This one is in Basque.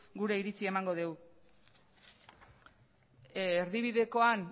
gure iritzia emango dugu erdibidekoan